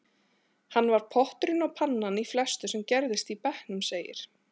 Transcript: Hann var potturinn og pannan í flestu sem gerðist í bekknum, segir